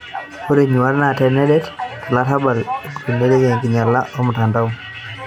Ore nyuaat naa nedet tolarabal ogilunoreki enkinyiala olmutandao.